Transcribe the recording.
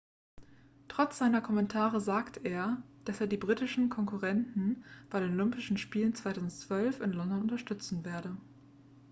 trotz seiner kommentare sagte er dass er die britischen konkurrenten bei den olympischen spielen 2012 in london unterstützen werde